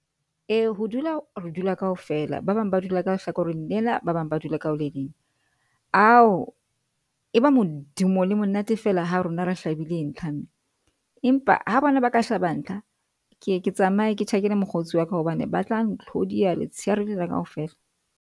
Ee, ho dula re dula kaofela, ba bang ba dula ka lehlakoreng lena, ba bang ba dula ka ho le leng, ao e ba modumo le monate fela ha rona re hlabile ntlha. Empa ha bona ba ka hlaba ntlha. Ke ye ke tsamaye ke tjhakele mokgotsi wa ka, hobane ba tla ntlhodiya letsheare lena kaofela.